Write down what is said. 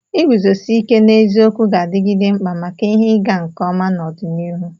Iguzosi ike n'eziokwu ga-adigide mkpa maka ihe ịga nke ọma n'ọdịnihu.